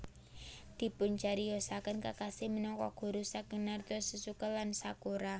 Dipuncariyosaken Kakashi minangka guru saking Naruto Sasuke lan Sakura